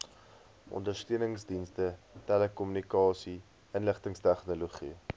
ondersteuningsdienste telekommunikasie inligtingstegnologie